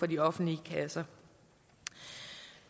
de offentlige kasser